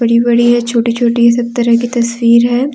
बड़ी बड़ी है छोटी छोटी सब तरह की तस्वीर है।